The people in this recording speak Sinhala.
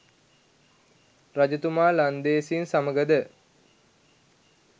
රජතුමා ලන්දේසින් සමඟද